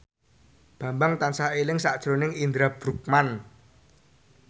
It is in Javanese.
Bambang tansah eling sakjroning Indra Bruggman